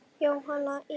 Jóhann í